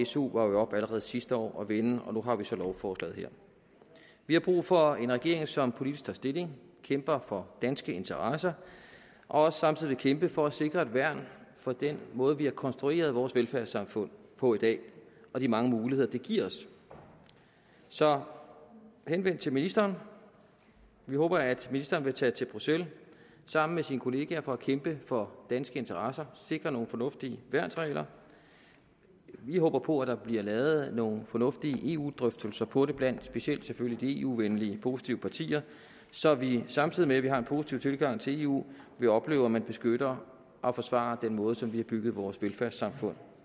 su var jo oppe allerede sidste år at vende og nu har vi så lovforslaget her vi har brug for en regering som politisk tager stilling kæmper for danske interesser og samtidig vil kæmpe for at sikre et værn for den måde vi har konstrueret vores velfærdssamfund på i dag og de mange muligheder det giver os så henvendt til ministeren vi håber at ministeren vil tage til bruxelles sammen med sine kolleger for at kæmpe for danske interesser og sikre nogle fornuftige værnsregler vi håber på at der bliver lavet nogle fornuftige eu drøftelser på det blandt specielt selvfølgelig de eu venlige og positive partier så vi samtidig med at vi har en positiv tilgang til eu vil opleve at man beskytter og forsvarer den måde som vi har bygget vores velfærdssamfund